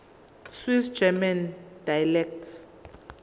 swiss german dialects